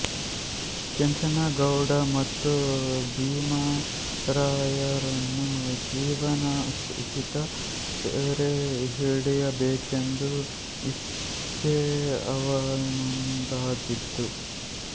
ಕೆಂಚನಗೌಡ ಮತ್ತು ಭೀಮರಾಯರನ್ನು ಜೀವಸಹಿತ ಸೆರೆ ಹಿಡಿಯಬೇಕೆಂಬ ಇಚ್ಛೆ ಅವನದಾಗಿದ್ದಿತು